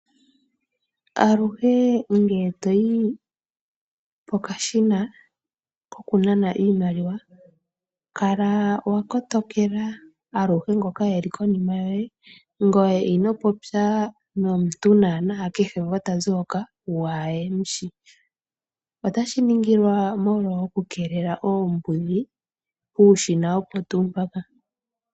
Aluhe ngele to yi pokashina kokunana iimaliwa kala wa kotokela aluhe ngoka e li konima yoye, ngoye ino popya nomuntu naanaa kehe ngoka ta zi hoka waa he mu shi. Otashi ningilwa molwa okukeelela oombudhi puushina opo tuu mpaka.